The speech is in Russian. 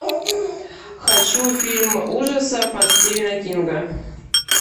хочу фильм ужасов от стивена кинга